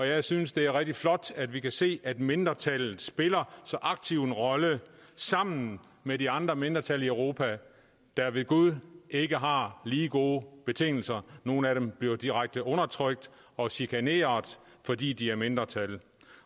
jeg synes det er rigtig flot at vi kan se at mindretallet spiller så aktiv en rolle sammen med de andre mindretal i europa der ved gud ikke har lige gode betingelser nogle af dem bliver direkte undertrykt og chikaneret fordi de er mindretal